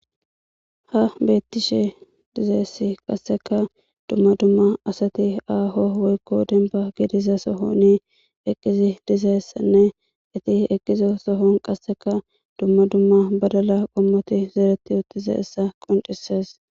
Ha Bettishe dizzayisi qaseka duma duma asati aaho woyiko dembba giddiza soohoni eqqidi dizayisa etti eqqiza soohon qaseka duma duma baddala qommoti zereti uttizayisa qonccises.